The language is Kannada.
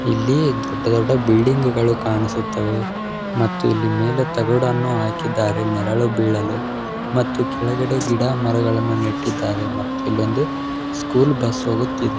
ಇಲ್ಲೀ ದೊಡ್ಡ ದೊಡ್ಡ ಬಿಲ್ಡಿಂಗುಗಳು ಕಾಣಿಸುತ್ತವೆ ಮತ್ತು ಇಲ್ಲಿ ಮೇಲೆ ತಗಡನ್ನು ಹಾಕಿದ್ದಾರೆ ನೆರಳು ಬೀಳಲು. ಮತ್ತು ಕೆಳಗಡೆ ಗಿಡ ಮರಗಳನ್ನ ನೆಟ್ಟಿದ್ದಾರೆ ಮತ್ ಇಲ್ಲೊಂದು ಸ್ಕೂಲ್ ಬಸ್ ಹೋಗುತ್ತಿದೆ.